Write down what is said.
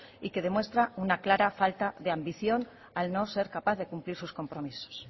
y que demuestra una clara falta de ambición al no ser capaz de cumplir sus compromisos